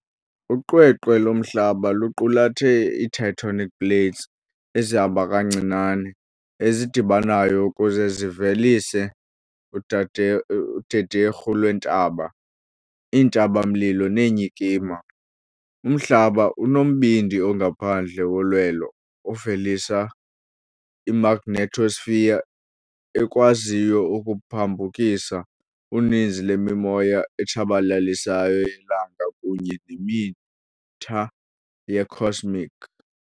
Uqweqwe loMhlaba luqulathe iitectonic plates ezihamba kancinane, ezidibanayo ukuze zivelise udade udederhu lweentaba, iintaba-mlilo neenyikima. Umhlaba unombindi ongaphandle wolwelo ovelisa imagnetosphere ekwaziyo ukuphambukisa uninzi lwemimoya etshabalalisayo yelanga kunye nemitha ye-cosmic.